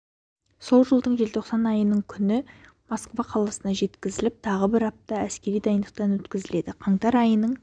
сол жылдың желтоқсан айының күні москва қаласына жеткізіліп тағы бір апта әскери дайындықтан өткізіледі қаңтар айының